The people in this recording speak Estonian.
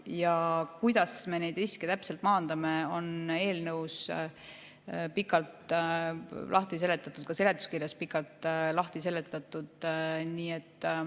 See, kuidas me neid riske täpselt maandame, on eelnõus pikalt lahti seletatud, ka seletuskirjas on see pikalt lahti seletatud.